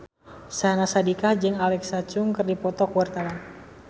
Syahnaz Sadiqah jeung Alexa Chung keur dipoto ku wartawan